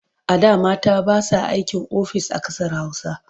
A da mata ba sa aikin ofis a ƙasar Hausa.